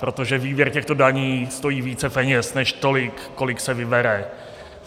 Protože výběr těchto daní stojí více peněz než tolik, kolik se vybere.